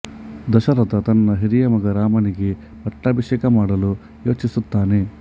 ದಶರಥ ತನ್ನ ಹಿರಿಯ ಮಗ ರಾಮನಿಗೆ ಪಟ್ಟಾಭಿಷೇಕ ಮಾಡಲು ಯೋಚಿಸುತ್ತಾನೆ